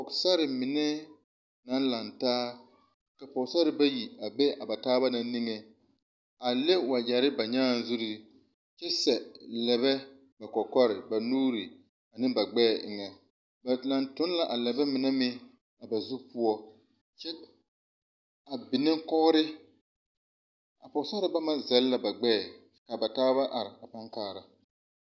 Sori mine naŋ lantaa, ka pɔgesare bayi a be ba taaba niŋe, a le wagyɛre ba nyaa zure, kyɛ sɛ lɛbɛ kɔkɔre, ba nuuri, ane ba gbɛɛ eŋɛ, ba la toŋ la a lɛbɛɛ mine meŋ ba zure poɔ, a biŋnɛ kogri, a pɔgesare mine zɛle la ba gbɛɛ ka ba taaba are paa kaara.